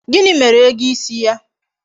Gini mere ego isi ya?